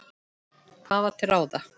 Hvað var til ráða?